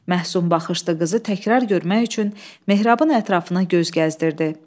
Məhsün baxışlı qızı təkrar görmək üçün mehrabın ətrafına göz gəzdirirdi.